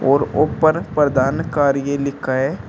और ऊपर प्रधान कार्य लिखा है।